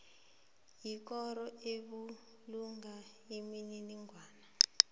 yikoro ebulunga imininingwana